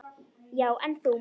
Já, en þú.